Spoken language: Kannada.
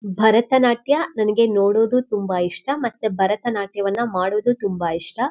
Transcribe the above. ಭರಥನಾಟ್ಯ ನನ್ಗೆ ನೋಡೋದು ತುಂಬ ಇಷ್ಟ ಮತ್ತೆ ಭರಥನಾಟ್ಯವನ್ನ ಮಾಡೋದು ತುಂಬ ಇಷ್ಟ.